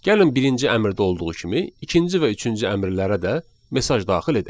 Gəlin birinci əmrdə olduğu kimi, ikinci və üçüncü əmrlərə də mesaj daxil edək.